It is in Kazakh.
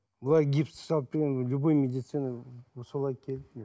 былай гипс салып берген любой медицинада